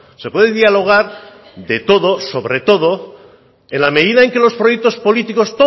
se puede dialogar de todo sobre todo en la medida en que los proyectos políticos